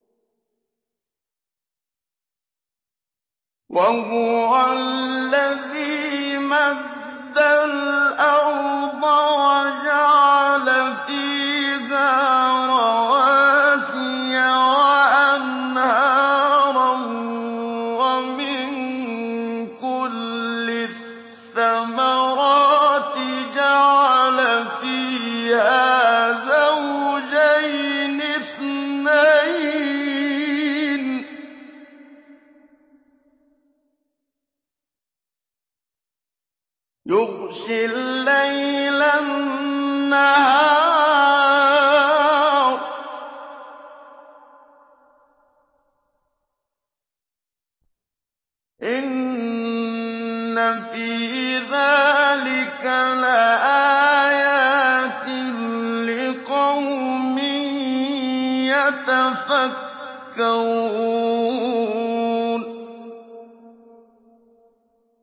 وَهُوَ الَّذِي مَدَّ الْأَرْضَ وَجَعَلَ فِيهَا رَوَاسِيَ وَأَنْهَارًا ۖ وَمِن كُلِّ الثَّمَرَاتِ جَعَلَ فِيهَا زَوْجَيْنِ اثْنَيْنِ ۖ يُغْشِي اللَّيْلَ النَّهَارَ ۚ إِنَّ فِي ذَٰلِكَ لَآيَاتٍ لِّقَوْمٍ يَتَفَكَّرُونَ